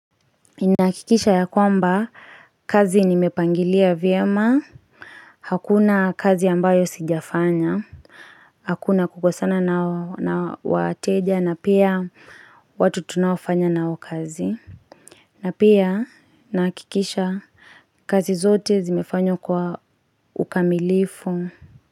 Ninahakikisha ya kwamba, kazi nimepangilia vyema Hakuna kazi ambayo sijafanya Hakuna kukosana na wateja na pia watu tunaofanya nao kazi na pia nahakikisha kazi zote zimefanywa kwa ukamilifu.